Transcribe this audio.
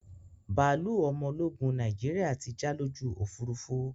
Bàálú ọmọ ológun Nàìjíríà tí já lójú Òfurufú